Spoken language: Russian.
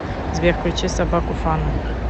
сбер включи собаку фана